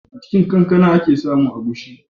A cin kankana a ke samun agushi.